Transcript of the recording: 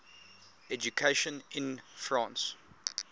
education in france